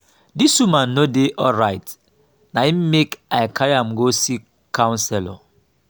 dis woman no dey alright na im make i carry am go see counselor.